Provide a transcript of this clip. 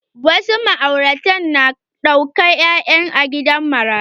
Wasu ma'aurata na ɗaukan yara a gidan marayu.